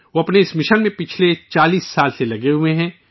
وہ اپنے مشن میں گزشتہ 40 برسوں سے مصروف ہیں